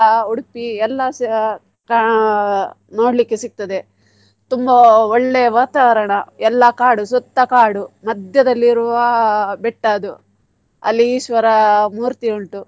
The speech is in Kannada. ಆ Udupi ಎಲ್ಲಸಾ ಕಾಣ್~ ನೋಡ್ಲಿಕ್ಕೆ ಸಿಗ್ತದೆ ತುಂಬಾ ಒಳ್ಳೆ ವಾತಾವರಣ ಎಲ್ಲ ಕಾಡು ಸುತ್ತ ಕಾಡು ಮಧ್ಯದಲ್ಲಿ ಇರುವ ಬೆಟ್ಟ ಅದು ಅಲ್ಲಿ ಈಶ್ವರ ಮೂರ್ತಿ ಉಂಟು.